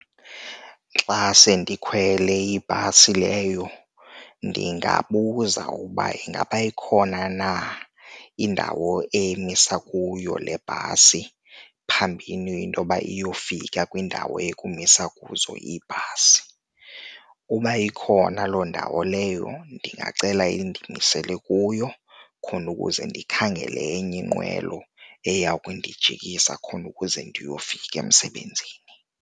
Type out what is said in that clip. Xa sendikhwele ibhasi leyo ndingabuza ukuba ingaba ikhona na indawo emisa kuyo le bhasi phambini intoba iyofika kwiindawo yokumisa kuzo ibhasi. Uba ikhona loo ndawo leyo ndingacela indimisele kuyo khona ukuze ndikhangele enye iinqwelo eya kundijikisa khona ukuze ndiyofika emsebenzini.